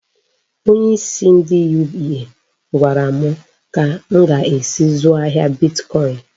Onyeisi ndị UBA gwara m ka m ga-esi zụọ ahịa bitkọin.